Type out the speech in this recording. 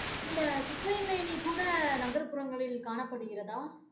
இந்த குப்பைமேனி கூட நகர்ப்புறங்களில் காணப்படுகிறதா?